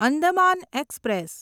Andaman express